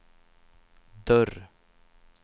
dörr